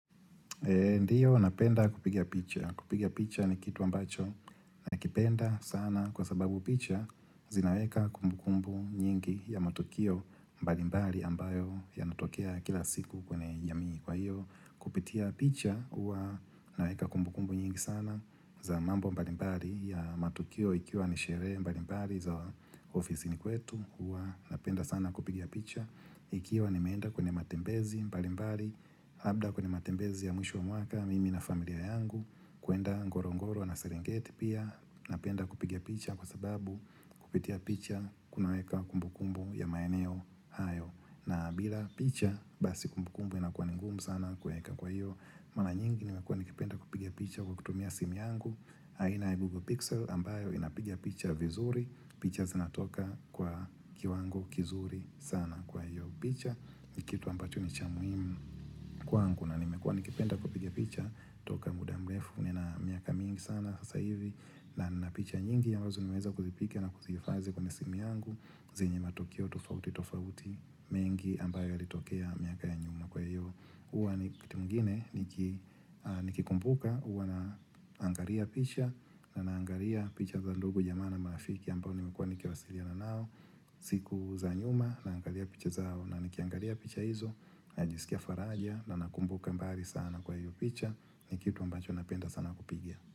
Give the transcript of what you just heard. Ndiyo napenda kupiga picha. Kupiga picha ni kitu ambacho na kipenda sana kwa sababu picha zinaweka kumbu kumbu nyingi ya matukio mbalimbali ambayo yanatokea kila siku kwenye jamii kwa hiyo kupitia picha uwa naweka kumbu kumbu nyingi sana za mambo mbalimbali ya matukio ikiwa ni sherehe mbalimbali za ofisini kwetu. Huwa napenda sana kupiga picha ikiwa nimeenda kwenye matembezi mbalimbali, labda kwenye matembezi ya mwisho wa mwaka, mimi na familia yangu kuenda ngorongoro na serengeti pia napenda kupiga picha kwa sababu kupitia picha kunaweka kumbu kumbu ya maeneo hayo, na bila picha basi kumbu kumbu inakua ni ngumu sana kueka kwa hiyo, mara nyingi nimekua nikipenda kupigia picha kwa kutumia simu yangu aina i Google Pixel ambayo inapiga picha vizuri picha zinatoka kwa kiwango kizuri sana kwa hiyo picha Nikitu ambacho ni cha muhimu kwangu na nimekua nikipenda kupiga picha toka muda mrefu nina miaka mingi sana sasa hivi na nina picha nyingi ambazo nimeweza kuzipiga na kuzihifadhi kwenye simu yangu zenye matokeo tofauti tofauti mengi ambayo yalitokea miaka ya nyuma kwa hiyo huwa wakati mwingine niki nikikumbuka huwa naangalia picha na naangalia picha za ndugu jamaa na marafiki ambao nimekuwa nikiwasiliana nao, siku za nyuma, naangalia picha zao, na nikiangalia picha hizo, najisikia faraja, na nakumbuka mbali sana kwa hiyo picha, ni kitu mbacho napenda sana kupiga.